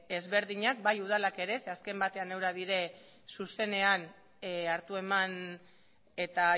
ezberdinak bai udalak ere zeren azken batean eurak dira zuzenean hartu eman eta